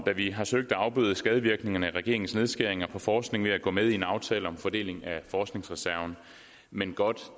da vi har søgt at afbøde skadevirkningerne af regeringens nedskæringer på forskningen ved at gå med i en aftale om fordeling af forskningsreserven men godt